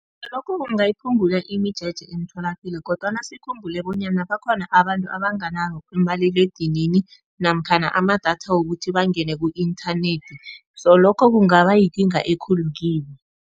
Lokho kungayiphungula imijeje emtholapilo kodwana sikhumbule bonyana bakhona abantu abanganawo umaliledinini namkhana amadatha wokuthi bangene ku-inthanethi so lokho kungaba yikinga ekhulu kibo.